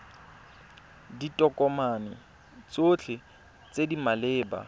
ditokomane tsotlhe tse di maleba